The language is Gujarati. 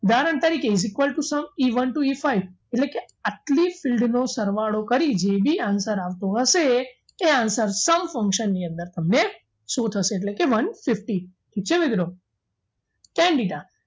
ઉદાહરણ તરીકે is equal to e one to e five એટલે કે આટલી fild નો સરવાળો કરી જે બી answer આવતો હશે એ answer sum function ની અંદર તમે શું થશે એટલે કે one fifty ઠીક છે મિત્રો tan thita